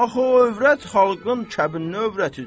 Axı o övrət xalqın kəbinli övrətidir.